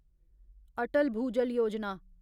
Atal Bhujal Yojana